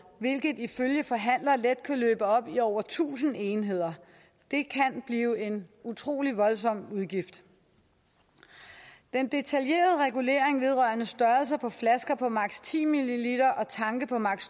hvilket ifølge forhandlere let kan løbe op i over tusind enheder det kan blive en utrolig voldsom udgift den detaljerede regulering vedrørende størrelser på flasker på maksimum